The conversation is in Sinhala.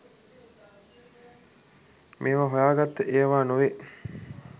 මේව හොයාගත්ත ඒව නෙවේ.